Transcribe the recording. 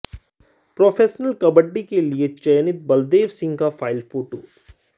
professional kabaddi के लिए चयनित बलदेव सिंह का फाइल फोटो